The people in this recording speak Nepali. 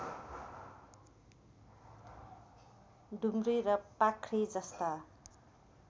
डुम्री र पाख्री जस्ता